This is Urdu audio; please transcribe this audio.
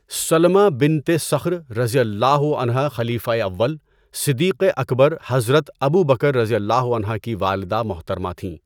سلمٰى بنت صخر رضی اللہ عنہا خلیفۂ اول، صدیق اکبر حضرت ابو بکر رضی اللہ عنہ کی والدہ محترمہ تھیں۔